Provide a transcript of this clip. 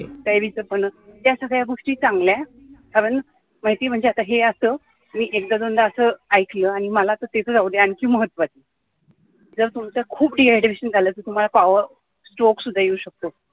कैरीचं पन्ह या सगळ्या गोष्टी चांगल्या कारण माहितीये म्हणजे आता हे असं एकदा दोनदा ऐकलं आणि ते तर जाऊदे आणखी महत्वाचं मला असं जर तुमचं खूप dehydration झालं असेल तर तुम्हाला stroke सुद्धा येऊ शकतो